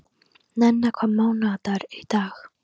Nenna, hvaða mánaðardagur er í dag?